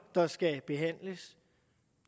der skal behandles